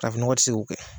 Farafin nɔgɔ tɛ se k'o kɛ